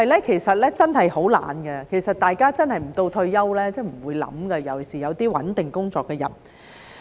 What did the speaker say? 其實人真的很懶，大家真的不到退休就不會想，尤其是有穩定工作的人。